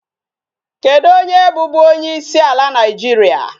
Kedụ onye bụbu onyeisi ala Nigeria?